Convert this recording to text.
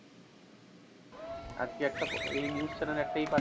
আজকে একটা এই news channel এ একটা ই পাঠিয়ে,